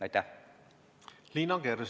Liina Kersna, palun!